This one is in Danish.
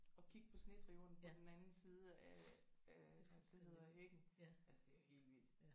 Og kigge på snedriverne på den anden side af af hvad er det det hedder hækken altså det er helt vildt